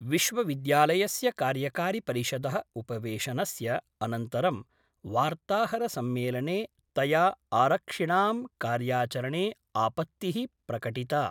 विश्वविद्यालयस्य कार्यकारिपरिषदः उपवेशनस्य अनन्तरं वार्ताहरसम्मेलने तया आरक्षिणां कार्याचरणे आपत्ति: प्रकटिता।